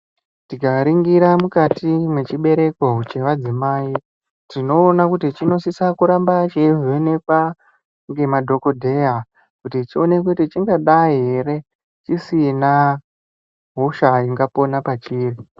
Tikaringira mwukati mwechibereko chevadzimai tinoona kuti chinosisa kuramba cheivhenekwa ngemadhokodheya kuti chionekwe kuti chingadai ere chisina hosha ingapona pachedu.